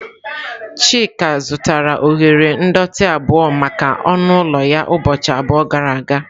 Chika zụtara oghere ndọtị abụo maka ọnụ ụlọ ya ụbọchị abụọ gara aga.